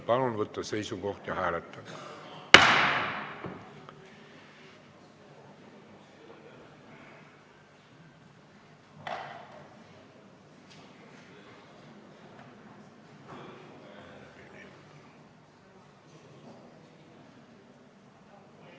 Palun võtta seisukoht ja hääletada!